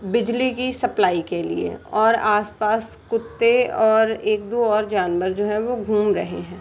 बिजली की सप्लाई के लिए और आस-पास कुत्ते और एक दो और जानवर जो हैं वो घूम रहे हैं।